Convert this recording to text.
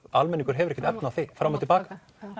almenningur hefur ekkert efni á því fram og til baka